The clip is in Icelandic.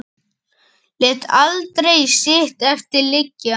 Lét aldrei sitt eftir liggja.